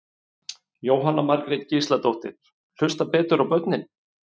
Jóhanna Margrét Gísladóttir: Hlusta betur á börnin?